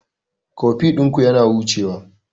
Koffi ɗinku yana hucewa..